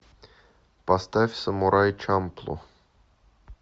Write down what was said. поставь самурай чамплу